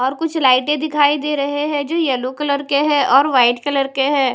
और कुछ लाइटे दिखाई दे रहे हैं जो येलो कलर के हैं और वाइट कलर के हैं।